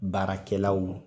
Baarakɛlaw